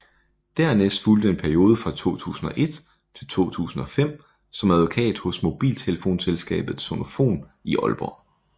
Dernæst fulgte en periode fra 2001 til 2005 som advokat hos mobiltelefonselskabet Sonofon i Aalborg